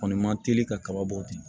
Kɔni ma teli kaba bɔ ten